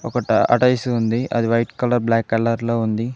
Tortoise ఉంది అది white colour black colour లో ఉంది.